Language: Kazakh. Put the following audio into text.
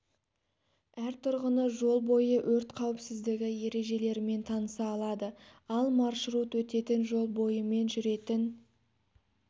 әр тұрғыны жол бойы өрт қауіпсіздігі ережелерімен таныса алады ал маршрут өтетін жол бойымен жүретін